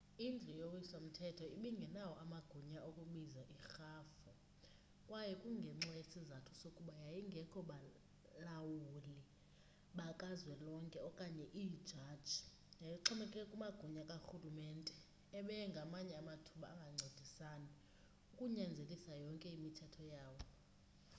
indlu yowiso mthetho ibingenawo amagunya okubiza irhafui kwaye kungenxa yesizathu sokuba yayingekho balawuli bakazwelonke okanye iijaji yayixhomekeke kumagunya karhulumente ebeye ngamanye amathuba angancedisani ukunyanzelisa yonke imithetho yawo